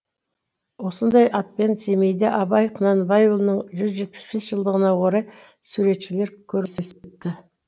осындай атпен семейде абай құнанбайұлының жүз жетпіс бес жылдығына орай суретшілер көрмесі өтті